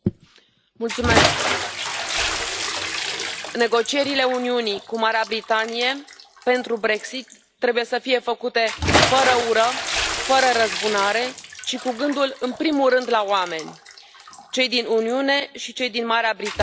Domnule președinte, negocierile Uniunii cu Marea Britanie pentru Brexit trebuie să fie făcute fără ură, fără răzbunare și cu gândul în primul rând la oameni, cei din Uniune și cei din Marea Britanie.